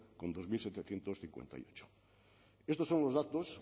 con dos mil setecientos cincuenta y ocho estos son los datos